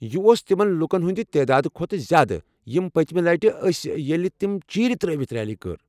یہ اوس تمن لوُکن ہندِ تعدادٕ کھوتہٕ زیادٕ یم پٔتمہِ لٹہِ ٲسہِ ییلہِ تمہِ چیرِ ترٲوِتھ ریلی كٕر ۔